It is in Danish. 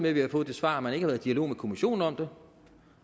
at vi har fået det svar at man ikke har været i dialog med kommissionen om det